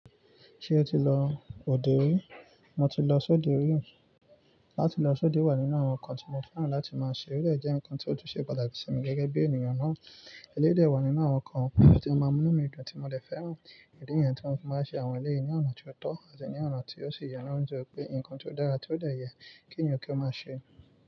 Ṣé o ti lọ òde rí? Mo ti lọ sóde rí. Láti lọ sóde wà nínú àwọn nǹkan tí mo fẹ́ràn láti máa ṣe. Eléyìí jẹ nǹkan tó tùn sé pàtàkì sí mi gẹ́gẹ́ bí ènìyàn náà. Eléyìí dẹ̀ wà nínú àwọn nǹkan tí ó máa ń mú mí dùn tí mo lè fẹ́ràn. Ìdí niyẹn tí wọ́n máa ń ṣe àwọn ilé yi ní ọ̀nà tí ó tọ́ àti ní ọ̀nà tí ó sì yẹ na ńitori pé nǹkan tó dára tí ó dẹ̀ yẹ kí ènìyàn kí ó máa ṣe.